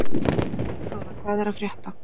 Sigþóra, hvað er að frétta?